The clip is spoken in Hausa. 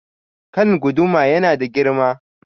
Kan guduma ya nada girma.